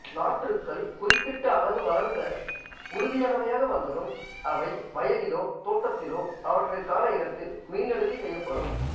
நாற்றுக்கள் குறிப்பிட்ட அளவு வளர்ந்து உறுதியானவையாக வந்ததும் அவை வயலிலோ தோட்டத்திலோ அவற்றிற்கான இடத்தில் மீள்நடுகை செய்யப்படும்